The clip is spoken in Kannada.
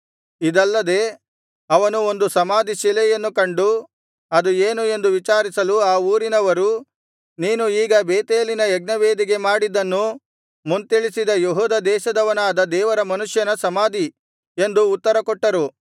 ಇದಲ್ಲದೆ ಅವನು ಒಂದು ಸಮಾಧಿಶಿಲೆಯನ್ನು ಕಂಡು ಅದು ಏನು ಎಂದು ವಿಚಾರಿಸಲು ಆ ಊರಿನವರು ನೀನು ಈಗ ಬೇತೇಲಿನ ಯಜ್ಞವೇದಿಗೆ ಮಾಡಿದ್ದನ್ನು ಮುಂತಿಳಿಸಿದ ಯೆಹೂದ ದೇಶದವನಾದ ದೇವರ ಮನುಷ್ಯನ ಸಮಾಧಿ ಎಂದು ಉತ್ತರಕೊಟ್ಟರು